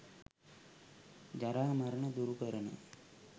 ජරා, මරණ දුරු කරන